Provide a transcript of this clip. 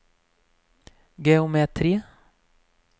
geometri